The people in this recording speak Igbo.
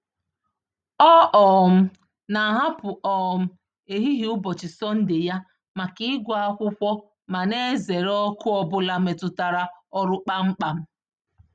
Ọ um na-ahapụ um ehihie ụbọchị Sọnde ya maka ịgụ akwụkwọ ma na-ezere oku ọbụla metụtara ọrụ kpam kpam.